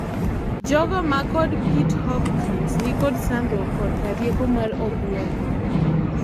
jogo ma kod Pit-Hopkins nikod sandruok koka rieko mar obuongo